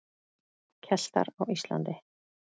Keltar á Íslandi.